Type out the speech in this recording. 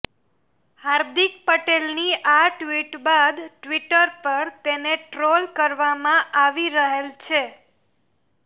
હાર્દિક પટેલની આ ટ્વિટ બાદ ટ્વિટર પર તેને ટ્રોલ કરવામાં આવી રહેલ છે